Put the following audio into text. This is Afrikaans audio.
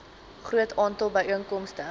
groot aantal byeenkomste